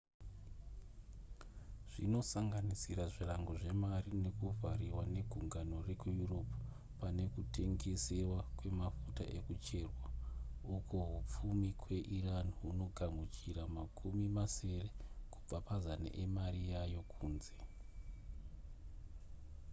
zvinosanganisira zvirango zvemari nekuvhariwa negungano rekueurope pane kutengesewa kwemafuta ekucherwa uko hupfumi kweiran hunogamuchira makumi masere kubva pazana emari yayo yekunze